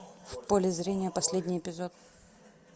в поле зрения последний эпизод